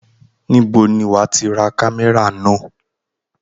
Níbo ni wàá ti ra kámẹ́rà náà?